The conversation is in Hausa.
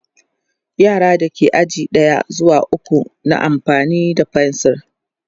yaran da ke aji na ɗaya zuwa ukwu na amfani da fensir